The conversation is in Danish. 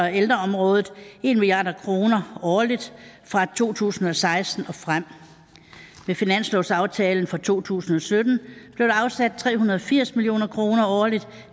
ældreområdet en milliard kroner årligt fra to tusind og seksten og frem med finanslovsaftalen for to tusind og sytten blev der afsat tre hundrede og firs million kroner årligt